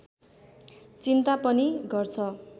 चिन्ता पनि गर्छ